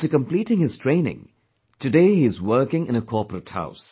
After completing his training today he is working in a corporate house